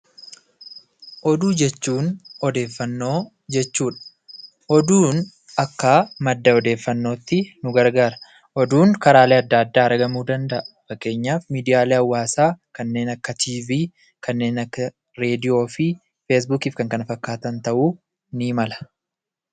Oduu jechuun odeeffannoo jechuudha. Oduun akka madda odeeffannootti nu gargaara. Oduun karaalee adda addaa argamuu danda'a. Fakkeenyaaf miidiyaalee hawaasaa kanneen akka Tiivii, kanneen akka Reedioofi feesbuukiif kan kana fakkaataan ta'uu ni mala.